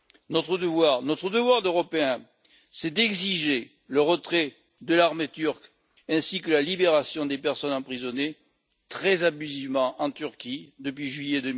Notre devoir d'Européens est d'exiger le retrait de l'armée turque ainsi que la libération des personnes emprisonnées très abusivement en Turquie depuis juillet